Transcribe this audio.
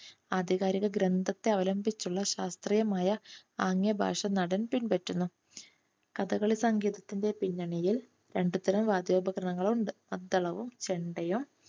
ആധികാരിക ഗ്രന്ഥത്തെ അവലംബിച്ചുള്ള ശാസ്ത്രീയമായ ആംഗ്യ ഭാഷ നടൻ പിൻപറ്റുന്നു. കഥകളി സംഗീതത്തിന്റെ പിന്നണിയിൽ രണ്ടുതരം വാദ്യോപകരണങ്ങൾ ഉണ്ട്. മദ്ദളവും ചെണ്ടയും